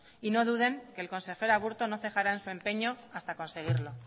y no duden que el consejero aburto no cejará en su empeño hasta conseguirlo